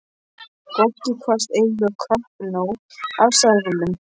Goggi kvaðst eiga kappnóg af seðlum.